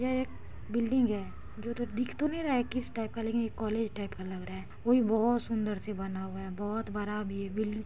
यह एक बिल्डिंग है जो दिख तो नहीं रहा हैं किस टाइप का लेकिन एक कॉलेज टाइप का लग रहा है वो भी बहुत सुंदर से बना हुआ है बहुत बड़ा भी है बी --